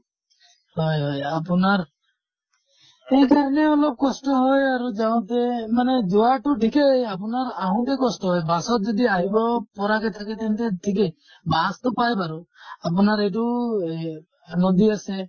হয় হয় আপোনাৰ অলপ কষ্ট হয় আৰু যাওঁতে মানে যোৱাটো ঠিকে, আপোনাৰ আহোতে কষ্ট হয়। bus যেতিয়া আহিব পৰাকে থাকে তেন্তে ঠিকে। bus তো পায় বাৰু। আপোনাৰ এইটো এহ নদী আছে